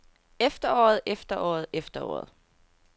efteråret efteråret efteråret